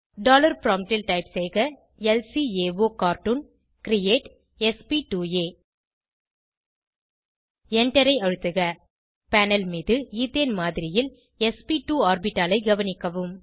dollar promptல் type செய்க ல்காகார்ட்டூன் கிரியேட் sp2ஆ Enter ஐ அழுத்துக பேனல் மீது ஈத்தேன் மாதிரியில் ஸ்ப்2 ஆர்பிட்டாலை கவனிக்கவும்